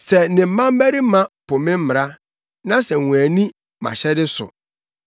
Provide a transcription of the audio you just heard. “Sɛ ne mmabarima po me mmara na sɛ wɔanni mʼahyɛde so,